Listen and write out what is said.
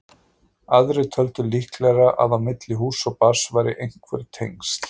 Aðrir töldu líklegra að á milli húss og barns væru einhver tengsl.